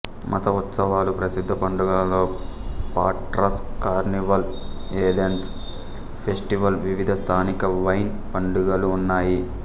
మత ఉత్సవాలు ప్రసిద్ధ పండుగలలో పాట్రాస్ కార్నివల్ ఏథెన్స్ ఫెస్టివల్ వివిధ స్థానిక వైన్ పండుగలు ఉన్నాయి